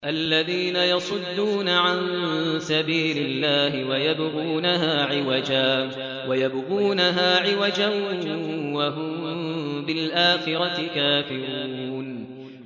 الَّذِينَ يَصُدُّونَ عَن سَبِيلِ اللَّهِ وَيَبْغُونَهَا عِوَجًا وَهُم بِالْآخِرَةِ كَافِرُونَ